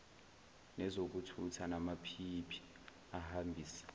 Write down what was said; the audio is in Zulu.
nezokuthutha namaphiyiphi ahambisa